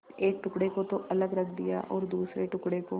एक टुकड़े को तो अलग रख दिया और दूसरे टुकड़े को